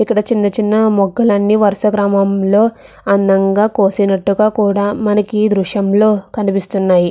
ఇక్కడ చిన్న చిన్న మొక్కలను వరుస క్రమంలో అందంగా కోసినట్టుగా కూడా మనకి దృశ్యంలో కనిపిస్తున్నాయి.